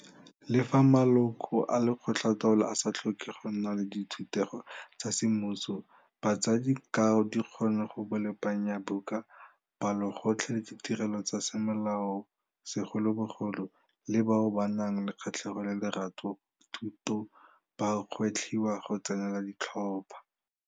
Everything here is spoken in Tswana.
Le fa maloko a lekgotlataolo a sa tlhoke go nna le dithutego tsa semmuso, batsadi ka dikgono go bolepanyabuka, palotlotlo le ditirelo tsa semolao segolobogolo, le bao ba nang le kgatlhego le lerato go thuto ba gwetlhiwa go tsenela ditlhopho.